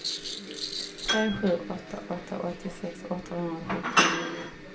tre sju åtta åtta åttiosex åttahundrasjuttionio